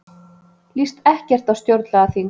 Líst ekkert á stjórnlagaþing